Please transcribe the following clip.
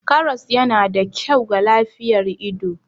Karas yana da kyau ga lafiyar ido.